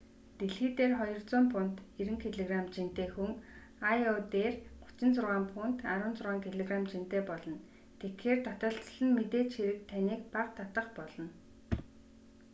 дэлхий дээр 200 фунт 90кг жинтэй хүн йо дээр 36 фунт 16 кг жинтэй болно. тэгэхээр таталцал нь мэдээж хэрэг таныг бага татах болно